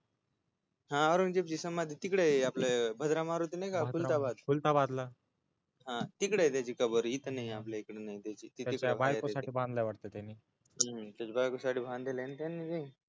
औंरगजेबाची समाधी तिकडय भद्रा मारूती नाही का कुलथाबाद कुलथाबादला हा तिकडय त्याची समाधी आपल्या इकडे नाहीये त्याची त्याच्या बायकोसाठी बांधलेलय वाटत त्यानी त्याच्या बायको साठी बांधलेलय ना त्यानी हूं